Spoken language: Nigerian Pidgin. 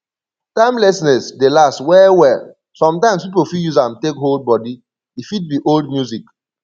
timelessness dey last well well sometimes pipo fit use am take hold body e fit be old music